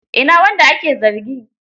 Ina wanda ake zargi?